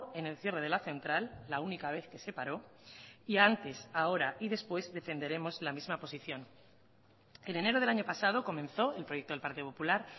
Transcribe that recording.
en el cierre de la central la única vez que se paró y antes ahora y después defenderemos la misma posición en enero del año pasado comenzó el proyecto del partido popular